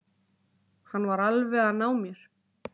Hann var alveg að ná mér